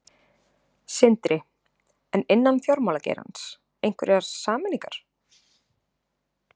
Sindri: En innan fjármálageirans, einhverjar sameiningar?